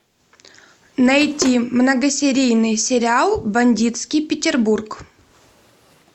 найти многосерийный сериал бандитский петербург